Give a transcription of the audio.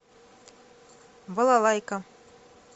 балалайка